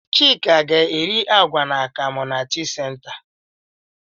Chika ga-eri àgwà na akam na tii senta.